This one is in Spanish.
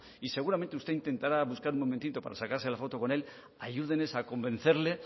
y seguramente usted intentará un momentito para sacarse la foto con él ayúdeles a convencerle